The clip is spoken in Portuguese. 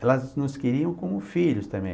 Elas nos queriam como filhos também.